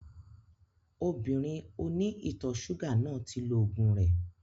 Obìnrin oní ìtọ̀ ṣúgà náà ti lo ògùn rẹ